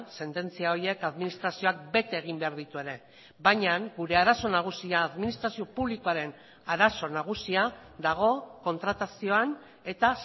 sententzia horiek administrazioak bete egin behar ditu ere baina gure arazo nagusia administrazio publikoaren arazo nagusia dago kontratazioan eta